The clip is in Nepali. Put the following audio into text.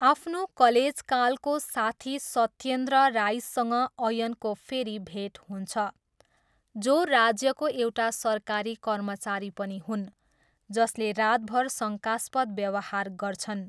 आफ्नो कलेजकालको साथी सत्येन्द्र राईसँग अयनको फेरि भेट हुन्छ जो राज्यको एउटा सरकारी कर्मचारी पनि हुन्, जसले रातभर शङ्कास्पद व्यवहार गर्छन्।